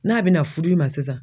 N'a bɛna fudu i ma sisan.